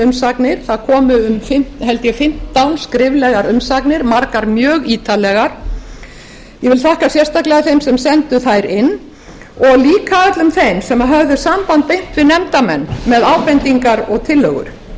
umsagnir það komu held ég fimmtán skriflegar umsagnir margar mjög ítarlegar ég vil þakka sérstaklega þeim sem sendu þær inn og líka öllum þeim sem höfðu samband beint við nefndarmenn með ábendingar og tillögur og